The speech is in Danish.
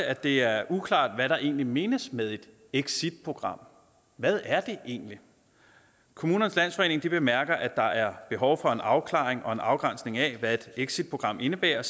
at det er uklart hvad der egentlig menes med et exitprogram hvad er det egentlig kommunernes landsforening bemærker at der er behov for en afklaring og en afgrænsning af hvad et exitprogram indebærer og